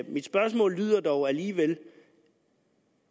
mit spørgsmål lyder dog alligevel